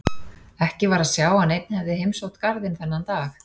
Ekki var að sjá að neinn hefði heimsótt garðinn þennan dag.